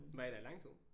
Var I der i lang tid?